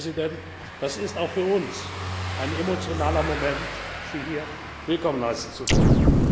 Ich glaube, Herr Präsident, es ist auch für uns ein emotionaler Moment, Sie hier willkommen heißen zu dürfen.